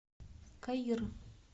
каир